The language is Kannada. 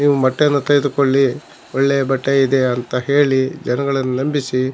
ಬಟ್ಟೆ ಎಲ್ಲ ತೆಗೆದುಕೊಳ್ಳಿ ಒಳ್ಳೆ ಬಟ್ಟೆ ಇದೆ ಅಂತ ಹೇಳಿ ಜನಗಳನ್ನು ನಂಬಿಸಿ--